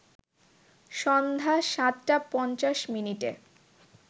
সন্ধ্যা ৭ টা ৫০ মিনিটে